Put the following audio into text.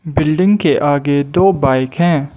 Building के आगे दो बाइक हैं।